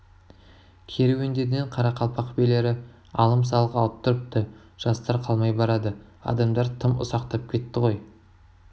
керуендерінен қарақалпақ билері алым-салық алып тұрыпты жастар қалмай барады адамдар тым ұсақтап кетті ғой